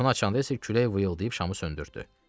Qapını açanda isə külək vıyıldayıb şamı söndürtdü.